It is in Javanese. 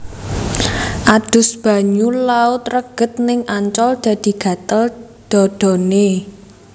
Adus banyu laut reget ning Ancol dadi gatel dhadhane